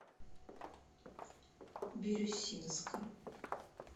бирюсинска